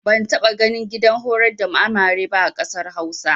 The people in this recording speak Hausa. Ban taɓa ganin gidan horar da amare ba a ƙasar Hausa.